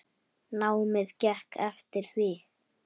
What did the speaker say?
Námið gekk eftir því.